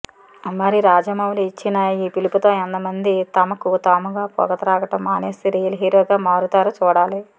మరి రాజమౌలి ఇచ్చిన ఈ పిలుపుతో ఎంతమంది తమకు తాముగా పొగ త్రాగడం మానేసి రియల్ హీరోగా మారుతారో చూడాలి